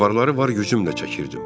Avarları var gücümlə çəkirdim.